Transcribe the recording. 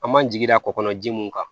An man jigi da kɔ kɔnɔ ji mun kan